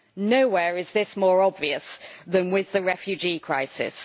Nowhere is this more obvious than with the refugee crisis.